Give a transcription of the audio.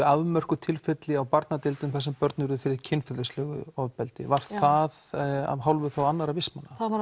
afmörkuð tilfelli á barnadeildum þar sem börn urðu fyrir kynferðislegu ofbeldi var það að hálfu annarra vistmanna það var